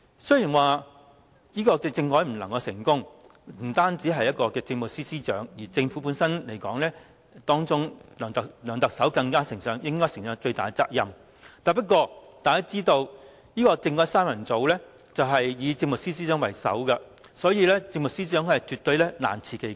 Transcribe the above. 雖然政改失敗不單是政務司司長的責任，而在政府裏，梁特首應承擔最大的責任，不過，大家也知道，"政改三人組"以政務司司長為首，所以政務司司長難辭其咎。